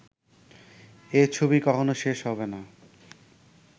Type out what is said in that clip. এ ছবি কখনো শেষ হবে না